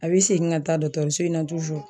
A bi segin ka taa dɔkɔtɔrɔso in na